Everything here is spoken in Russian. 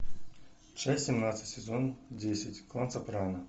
часть семнадцать сезон десять клан сопрано